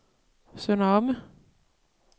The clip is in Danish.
Sønder Omme